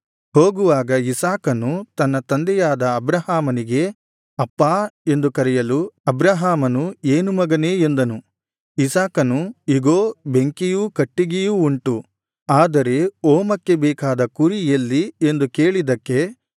ಹೋಗುವಾಗ ಇಸಾಕನು ತನ್ನ ತಂದೆಯಾದ ಅಬ್ರಹಾಮನಿಗೆ ಅಪ್ಪಾ ಎಂದು ಕರೆಯಲು ಅಬ್ರಹಾಮನು ಏನು ಮಗನೇ ಎಂದನು ಇಸಾಕನು ಇಗೋ ಬೆಂಕಿಯೂ ಕಟ್ಟಿಗೆಯೂ ಉಂಟು ಆದರೆ ಹೋಮಕ್ಕೆ ಬೇಕಾದ ಕುರಿ ಎಲ್ಲಿ ಎಂದು ಕೇಳಿದ್ದಕ್ಕೆ